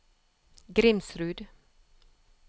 Grimsrud